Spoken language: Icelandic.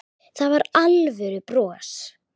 Það var alvöru bros.